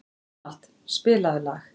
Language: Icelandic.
Dómald, spilaðu lag.